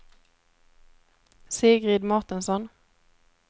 Sigrid Mårtensson